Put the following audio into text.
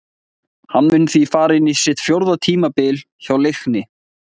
Hann mun því fara inn í sitt fjórða tímabil hjá Leikni.